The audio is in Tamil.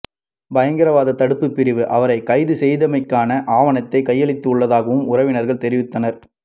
பயங்கரவாதத் தடுப்பு பிரிவு அவரை கைது செய்தமைக்கான ஆவணத்தை கையளித்து ள்ளதாகவும் உறவினர்கள் தெரிவித்தனர்